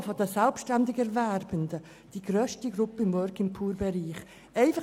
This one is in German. De facto machen die Selbstständigerwerbenden die grösste Gruppe innerhalb des Working-Poor-Bereichs aus;